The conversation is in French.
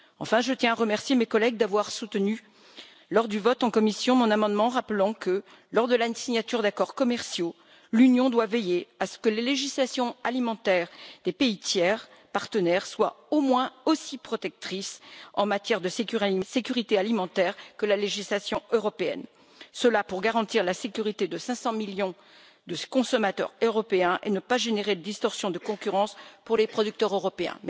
Enfin, je tiens à remercier mes collègues d'avoir soutenu, lors du vote en commission, mon amendement rappelant que, lors de la signature d'accords commerciaux, l'Union doit veiller à ce que les législations alimentaires des pays tiers partenaires soient au moins aussi protectrices en matière de sécurité alimentaire que la législation européenne, cela pour garantir la sécurité de 500 millions de consommateurs européens et ne pas générer de distorsions de concurrence pour les producteurs européens.